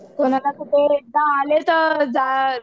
कोणाला कुठे एकदा आले तर